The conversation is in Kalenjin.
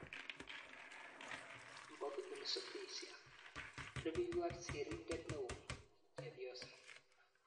Mpoki Ulisubisya. Rupeiywot sirindeet neo-chepyoso